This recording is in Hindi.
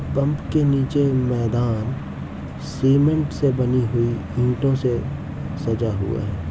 पंप के नीचे मैदान सीमेंट से बनी हुई ईंटो से सजा हुआ है।